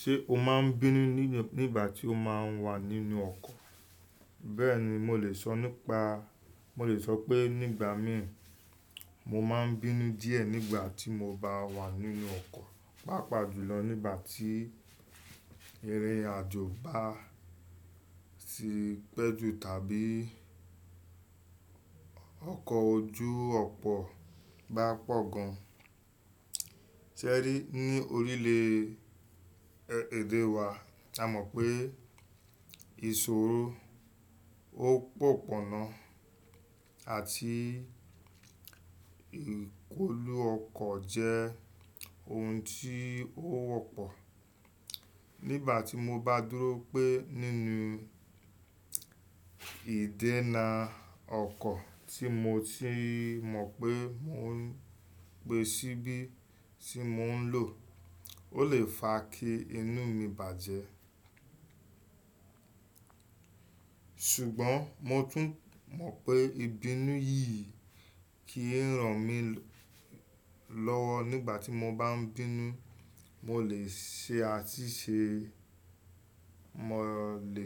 Ṣé o máa n bínú nígbà tí o máa n wà nínú ọkọ̀? Bẹ́ẹ̀ni, mo lè sọ nípa, mo lè sọ pé nígbà mìí mo máa n bínú díẹ̀ nígbà tí mo bá wà nínú ọkọ̀, pàápàá jùlọ nígbà tí irin àjò bá ti pẹ́ jù tàbí ọkọ̀ ojú ọ̀pọ̀ bá pọ̀ gan. Sẹ́rí ní orílèèdè wa a mọ̀ pé ìṣòro, òpópónà àti ìkólú ọkọ̀ jẹ́ oun tí ó wọ́pọ̀. Nígbà tí mo bá dúró pẹ́ nínú ìdẹ́na ọkọ̀ tí mo ti mọ̀ pé mo n pe síbí tí mò n lò, ó lè fa kí inú mi bàjẹ́. Ṣùgbọ́n mo tún mọ̀ pé ìbínú yìí kì í ràn mí lọ́wọ́ nígbà tí mo bá n bínú. Mo lè ṣe àtíṣè, mo lè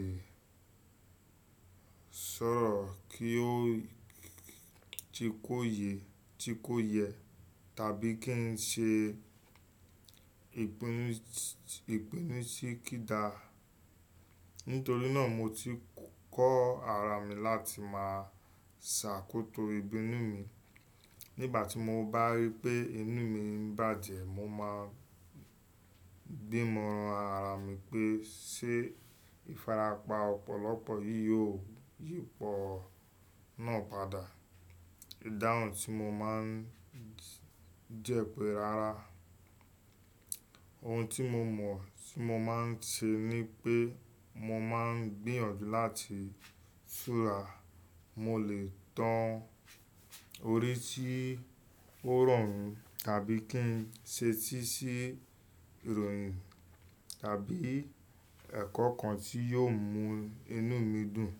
sọ̀rọ̀ kí ó-- ti kó yẹ tàbí kí n ṣe ìpinnu tí kì í dáa. Nítorí náà mo ti kọ́ ara mi láti máa ṣàkótó ìbínú mi. Nígbà tí mo bá rí pé inú mi n bàjẹ́, mo máa gbé móran ara mi pé: ṣé ìfarapa ọ̀pọ̀lọpọ̀ yìí yóò yí pọ̀ náà padà. Ìdáhùn tí mo máa n jẹ́ pe rara. Ohun tí mo mọ̀ tí mo máa n ṣe ni pé mo máa n gbìyànjú láti fura. Mo lè tan orí tí ó rọrùn tàbí kí n ṣetí sí ìròyìn, tàbí ẹ̀kọ́ kan tí yóò mú inú mi dùn.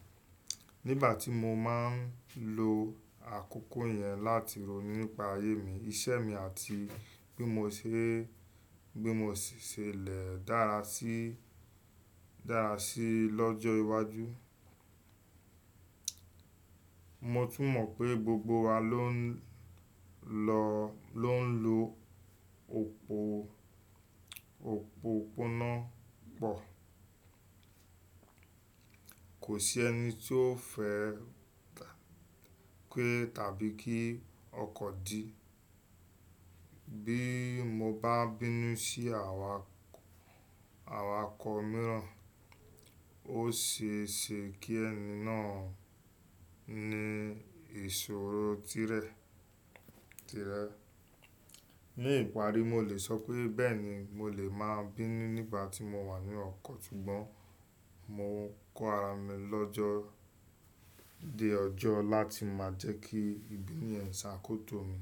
Nígbà tí mo máa n lo àkókò yẹn láti ròyìn nípa ayé mi, iṣẹ́ mi àti bí mo ṣe lè dára sí i lọ́jọ́ iwájú. Mo tún mọ̀ pé gbogbo wa ló n lọ, ló n lo òpópónà pọ̀. Kò sí ẹni tí ó fẹ́ pé tàbí kí ọkọ̀ dí. Bí mo bá bínú sí awakọ̀ mìíràn, ó ṣeeṣe kí ẹni náà ní ìṣòro tirẹ̀. Ní ìparí, mo lè sọ pé, bẹ́ẹ̀ni, mo lè máa n bínú nígbà tí mo wà ní ọkọ̀, ṣùgbọ́n mo n kọ́ ara mi lọ́jọ́, de ọjọ́ láti máa jẹ́ kí ìbínú yẹn ṣàkótó mi.